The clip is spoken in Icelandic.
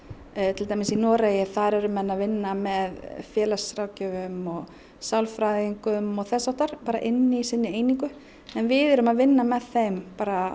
til dæmis í Noregi þar eru menn að vinna með félagsráðgjöfum og sálfræðingum og þess háttar inni í sinni einingu en við erum að vinna með þeim